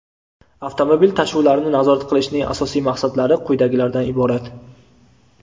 avtomobil tashuvlarini nazorat qilishning asosiy maqsadlari quyidagilardan iborat:.